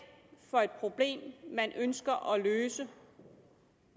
problem det man ønsker at løse